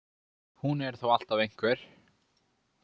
Hún er þó alltaf einhver.